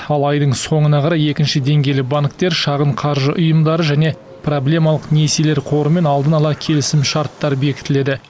ал айдың соңына қарай екінші деңгейлі банктер шағын қаржы ұйымдары және проблемалық несиелер қорымен алдын ала келісімшарттар бекітіледі